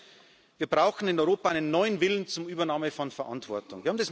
Das Erste ist Wir brauchen in Europa einen neuen Willen zur Übernahme von Verantwortung.